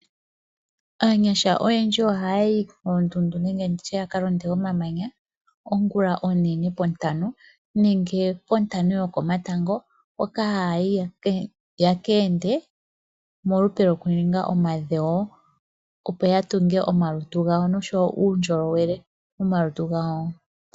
Aanyasha oyendji ohaya yi koondundu nenge ya ka londe komamanya ongulonene pontano nenge pontano yokomatango hoka haya yi yekeende molupe lwokuninga omadhewo opo ya tunge omalutu gawo noshowo uundjolowele momalutu gawo.